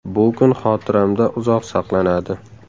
Bu kun xotiramda uzoq saqlanadi”.